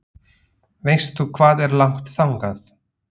Veistu hvað er langt þangað?